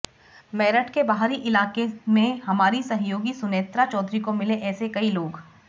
मेरठ के बाहरी इलाके मे हमारी सहयोगी सुनेत्रा चौधरी को मिले ऐसे कई लोग